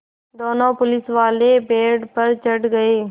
दोनों पुलिसवाले पेड़ पर चढ़ गए